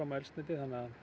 á eldsneyti